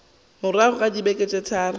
morago ga beke tše tharo